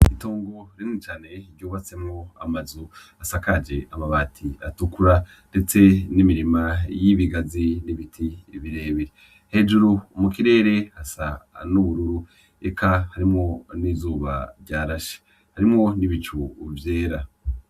Itongo rinini cane ryubatsemwo amazu asakaje amabati atukura ndetse n'imirima y'ibigazi n'ibiti birebire. Hejuru mu kirere hasa n'ubururu eka harimwo n'izuba ryarashe; harimwo n'ibicu vyera.